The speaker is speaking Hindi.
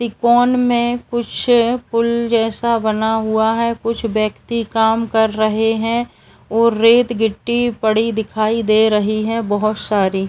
तिकोन में कुछ पुल जैसा बना हुआ है। कुछ व्यक्ति काम कर रहे हैं और रेत गिट्टी पड़ी दिखाई दे रही है बोहोत सारी।